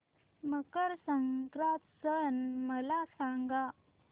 मकर संक्रांत सण मला सांगा